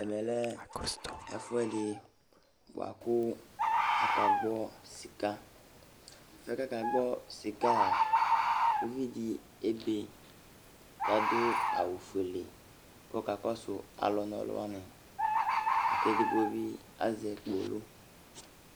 Ɛmɛ lɛ ɛfuɛdi buaku aka gbɔ sika, ɛfuɛ k'aka gbɔ sikaa, uvi di ébé k'adu awù fuele k'ɔka kɔsu aluwani, la k'edigbo bi azɛ gbolu